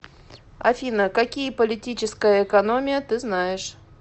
афина какие политическая экономия ты знаешь